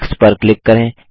text पर click करें